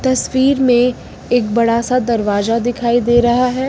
तस्वीर में एक बड़ा सा दरवाजा दिखाई दे रहा है।